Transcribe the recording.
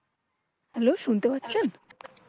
Hello শুনতে পাচ্ছেন?